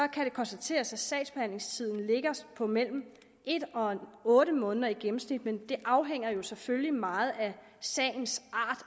kan det konstateres at sagsbehandlingstiden ligger på mellem en og otte måneder i gennemsnit men det afhænger selvfølgelig meget af sagens art